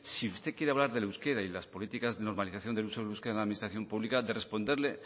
si usted quiere hablar del euskera y las políticas de normalización del uso del euskera en la administración pública de responderle